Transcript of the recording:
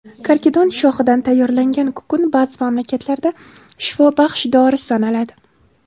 Karkidon shoxidan tayyorlangan kukun ba’zi mamlakatlarda shifobaxsh dori sanaladi.